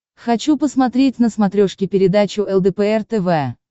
хочу посмотреть на смотрешке передачу лдпр тв